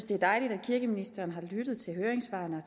det er dejligt at kirkeministeren har lyttet til høringssvarene og